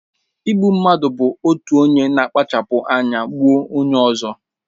Igbu mmadụ bụ otu onye na-akpacha anya gbuo onye ọzọ.